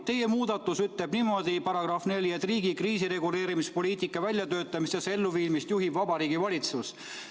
Teie muudatus ütleb niimoodi –§ 4 –, et riigi kriisireguleerimispoliitika väljatöötamist ja elluviimist juhib Vabariigi Valitsus.